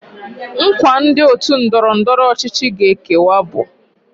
Nkwa ndi otu ndọrọ ndọrọ ọchịchị ga ekewe ya bu: